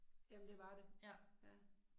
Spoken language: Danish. Jamen det var det. Ja